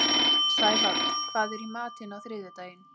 Sævald, hvað er í matinn á þriðjudaginn?